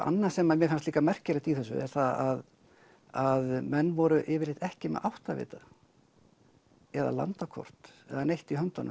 annað sem mér fannst líka merkilegt í þessu er það að menn voru yfirleitt ekki með áttavita eða landakort eða neitt í höndunum